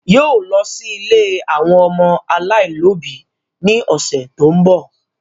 Yóò lọ sí ilé àwọn ọmọ aláìlóbi ní ọ̀sẹ̀ tó ń bọ̀